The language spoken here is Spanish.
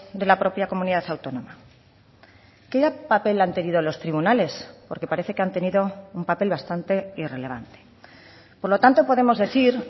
de la propia comunidad autónoma qué papel han tenido los tribunales porque parece que han tenido un papel bastante irrelevante por lo tanto podemos decir